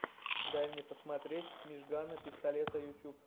дай мне посмотреть мижгана пистолета ютуб